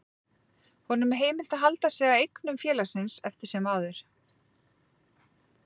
Honum er heimilt að halda sig að eignum félagsins eftir sem áður.